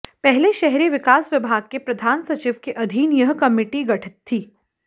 पहले शहरी विकास विभाग के प्रधान सचिव के अधीन यह कमेटी गठित थी